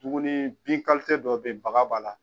Duguni bin dɔ bɛ ye baga b'a la.